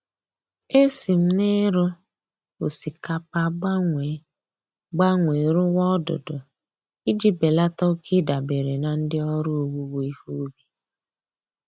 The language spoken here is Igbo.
E si m na-ịrụ osikapa gbanwee gbanwee rụwa odudu iji belata oke ịdabere na ndị ọrụ owuwe ihe ubi